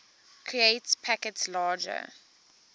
create packets larger